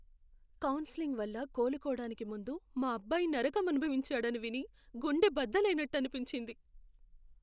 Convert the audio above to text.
Counselling వల్ల కోలుకోడానికి ముందు మా అబ్బాయి నరకం అనుభవించాడని విని గుండె బద్దలైనట్టు అనిపించింది.